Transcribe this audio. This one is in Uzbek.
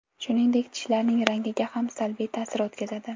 Shuningdek, tishlarning rangiga ham salbiy ta’sir o‘tkazadi.